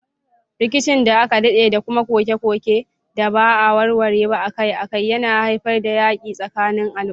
Rikicin da aka dade da kuma koke-koke da ba a warware ba akai-akai yana haifar da yakin tsakanin al'umma.